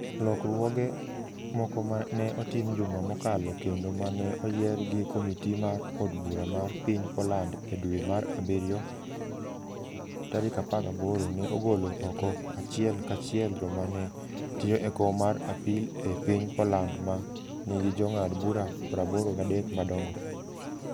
Lokruoge moko ma ne otim juma mokalo kendo ma ne oyier gi komiti mar od bura mar piny Poland e dwe mar abirio 18, ne ogolo oko achiel kachiel joma ne tiyo e kom mar apil e piny Poland, ma nigi jong'ad bura 83 madongo.